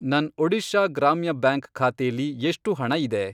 ನನ್ ಒಡಿಶಾ ಗ್ರಾಮ್ಯ ಬ್ಯಾಂಕ್ ಖಾತೆಲಿ ಎಷ್ಟು ಹಣ ಇದೆ?